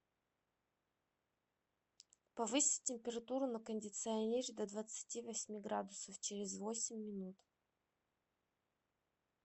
повысить температуру на кондиционере до двадцати восьми градусов через восемь минут